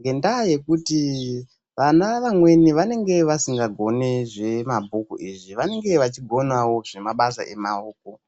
ngendaa yekuti vana vamweni vanenge vasingagoni zvemabhuku izvi, vanenge vachigonawo zvemabasa emaoko.